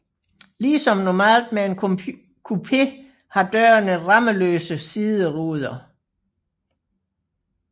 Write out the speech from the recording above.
Ligesom normalt med en coupé har dørene rammeløse sideruder